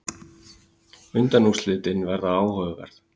Undanúrslitin verða áhugaverð.